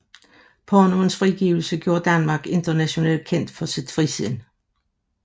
Pornoens frigivelse gjorde Danmark internationalt kendt for sit frisind